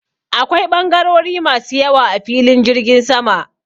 Akwai ɓangarori masu yawa a filin jirgin sama.